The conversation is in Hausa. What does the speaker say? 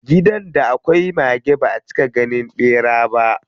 Gidan da akwai mage baʼa cika ganin ɓera ba.